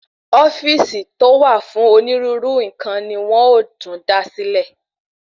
Ofíìsì to wà fún onírúurú nkan ni wón ọ tún dá sílẹ̀